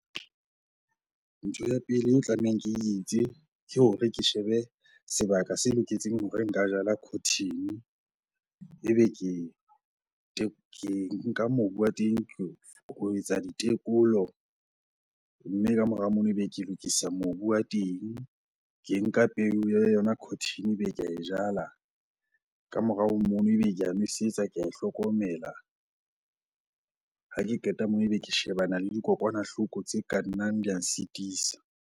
Ntho ya pele eo tlamehang ke e etse ke hore ke shebe sebaka se loketseng hore nka jala cotton-e, ebe ke nka mobu wa di ho etsa ditekolo. Mme ka mora mono ebe ke lokisa mobu wa teng, ke nka peo ya yona cotton-e ebe ke ae jala. Ka morao ho mono ebe ke ae nwesetsa, ke ae hlokomela. Ha ke qeta moo ebe ke shebana le dikokwanahloko tse ka nnang di a nsitisa.